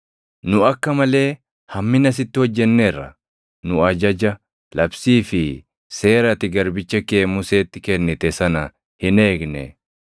Nu akka malee hammina sitti hojjenneerra. Nu ajaja, labsii fi seera ati garbicha kee Museetti kennite sana hin eegne.